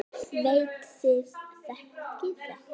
Veit þið þekkið þetta.